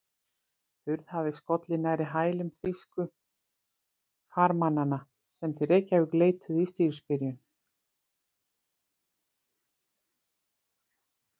Hurð hafði skollið nærri hælum þýsku farmannanna, sem til Reykjavíkur leituðu í stríðsbyrjun.